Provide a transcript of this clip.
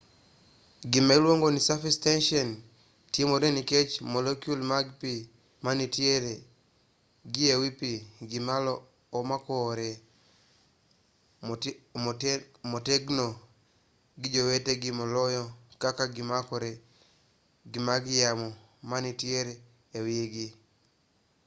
gima iluongo ni surface tension timore nikech molekul mag pi manitiere gi e wi pi gimalo omakore motegno gi jowetegi moloyo kaka gimakore gi mag yamo manitiere e wi gi